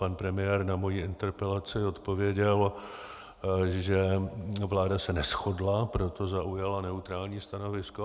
Pan premiér na moji interpelaci odpověděl, že vláda se neshodla, proto zaujala neutrální stanovisko.